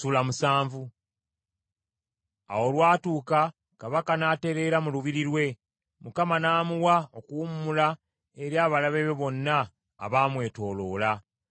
Awo olwatuuka kabaka n’atereera mu lubiri lwe, Mukama n’amuwa okuwummula eri abalabe be bonna abaamwetooloola.